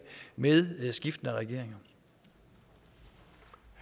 med skiftende regeringer